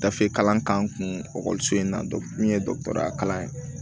Gafe kalan k'an kun ekɔliso in na min ye dɔgɔtɔrɔ kalan ye